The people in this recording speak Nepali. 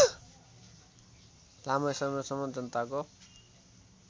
लामो समयसम्म जनताको